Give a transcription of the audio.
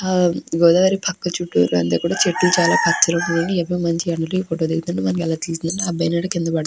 ఆ గోదావరి పక్క చుట్టూరా అంతా కూడా చెట్లు చాలా పచ్చ రంగులో ఉన్నాయి. ఈ అబ్బాయి మంచి గంటలకు ఫోటో దిగుతున్నట్టుగా తెలుస్తుంది. అబ్బాయి నీడ కింద పడుతుం--